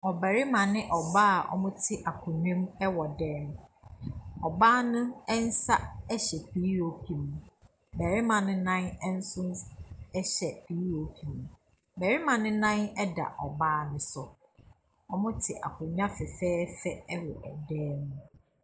Ɔbarima ne ɔbaa a wɔte akonnwa mu wɔ dan mu. Ɔbaa no nsa hyɛ POP mu. Barima no nso nan POP mu. Barima no nan da ɔbaa no so. Wɔte akonnwa fɛfɛɛfɛ so wɔ dan mu.